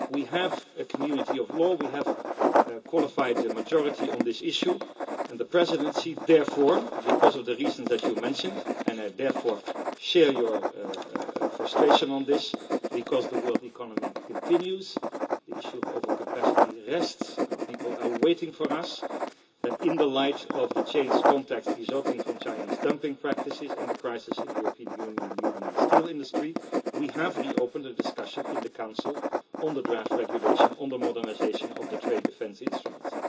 We have a community of law, we have a qualified majority on this issue and therefore, because of the reasons that you mentioned and I therefore share your frustration on this because the world economy continues and the issue of overcapacity remains, and our people are waiting for us in the light of the changed context resulting from Chinese dumping practices and the crisis in the European Union steel industry, the Presidency has reopened a discussion in the Council on the draft regulation on the modernisation of the trade defence instruments.